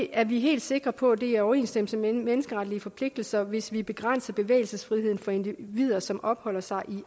er vi helt sikre på at det er i overensstemmelse med menneskeretlige forpligtelser hvis vi begrænser bevægelsesfriheden for individer som opholder sig i